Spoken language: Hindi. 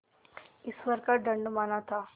ईश्वर का दंड माना था